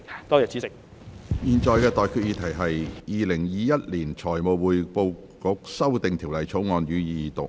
我現在向各位提出的待決議題是：《2021年財務匯報局條例草案》，予以二讀。